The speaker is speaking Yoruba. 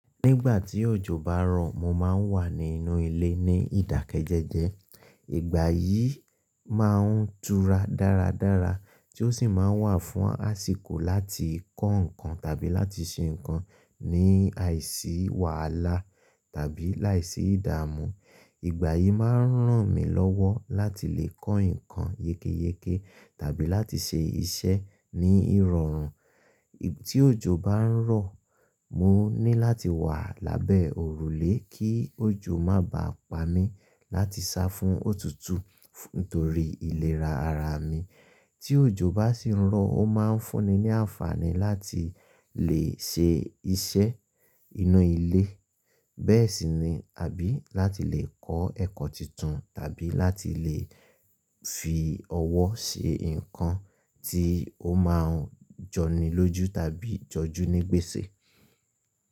Nígbà tí òjò bá ń rọ̀, mo máa ń wà nínú ilé ní ìdákẹ́jẹẹ́jẹ́. Ìgbà yìí máa ń tura dáradára tí ó sì máa wà fún àsìkò láti kọ́ nǹkan tàbí láti ṣe nǹkan ní àìsí wàhálà tàbí láìsí ìdààmú. Ìgbà yìí máa ń ràn mí lọ́wọ́ láti lè kọ́ nǹkan yékéyéké tàbí láti ṣe iṣẹ́ ní ìrọ̀rùn. Tí òjò bá ń rọ̀, mo ní láti wà lábẹ́ òrùlé kí òjò má ba à pa mí láti sá fún òtútù nítorí ìlera ara mi. Tí òjò bá sì ń rọ̀, ó máa ń fún ni ní àǹfààní láti lè ṣe iṣẹ́ inú ilé bẹ́ẹ̀ sì ni a bí láti lè kọ́ ẹ̀kọ́ tuntun tàbí láti lè fi ọwọ́ ṣe nǹkan tí ó máa ń jọni lójú tàbí jọjú ní gbèsè.